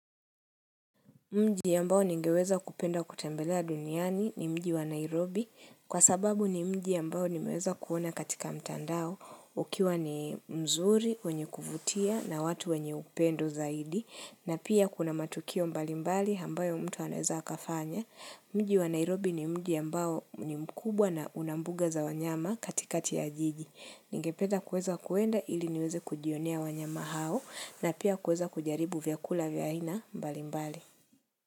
Mji ambao ningeweza kupenda kutembelea duniani ni mji wa Nairobi, kwa sababu ni mji ambao nimeweza kuona katika mtandao, ukiwa ni mzuri, wenye kuvutia, na watu wenye upendo zaidi, na pia kuna matukio mbalimbali ambayo mtu anaweza akafanya. Mji wa Nairobi ni mji ya ambao ni mkubwa na una mbuga za wanyama katikati ya jiji. Ningependa kuweza kuenda ili niweze kujionea wanyama hao, na pia kuweza kujaribu vyakula vya aina mbalimbali.